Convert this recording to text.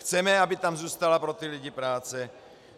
Chceme, aby tam zůstala pro ty lidi práce.